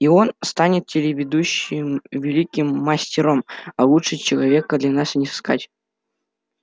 и он станет следующим великим мастером а лучшего человека для нас и не сыскать